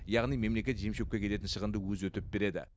яғни мемлекет жем шөпке кететін шығынды өзі өтеп береді